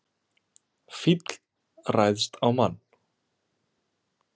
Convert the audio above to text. Fíll ræðst á mann